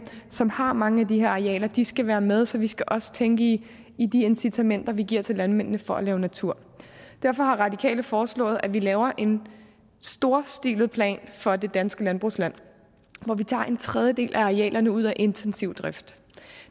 som har mange af de her arealer og de skal være med så vi skal også tænke i de incitamenter vi giver til landmændene for at lave natur derfor har radikale foreslået at vi laver en storstilet plan for det danske landbrugsland hvor vi tager en tredjedel af arealerne ud af intensiv drift